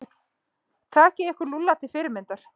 Takið ykkur Lúlla til fyrirmyndar.